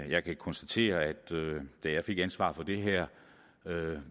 jeg kan konstatere at da jeg fik ansvaret for det her